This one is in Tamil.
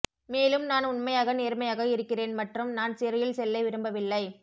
மேலும் நான் உண்மையாக நேர்மையாக இருக்கிறேன் மற்றும் நான் சிறையில் செல்ல விரும்பவில்லை